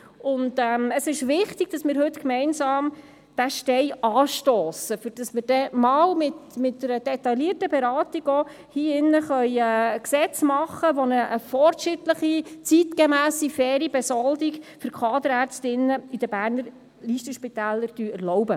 Es ist wichtig, heute gemeinsam den Stein anzustossen, um später in diesem Saal in einer detaillierten Beratung ein Gesetz machen zu können, das eine fortschrittliche, zeitgemässe und faire Besoldung von Kaderärztinnen und -ärzten in den Berner Listenspitälern erlaubt.